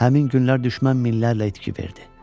Həmin günlər düşmən minlərlə itki verdi.